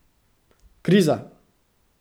Kriza!